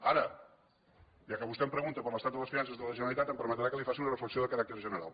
ara ja que vostè em pregunta per l’estat de les finances de la generalitat em permetrà que li faci una reflexió de caràcter general